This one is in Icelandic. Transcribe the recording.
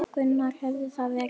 Gunnar: Hefur það verið gert?